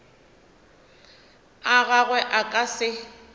a gagwe a ka se